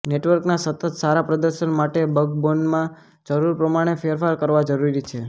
નેટવર્કના સતત સારા પ્રદર્શન માટે બક્બોનમાં જરૂર પ્રમાણે ફેરફાર કરવા જરૂરી છે